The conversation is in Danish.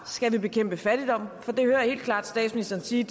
skal bekæmpe fattigdom for det hører jeg helt klart statsministeren sige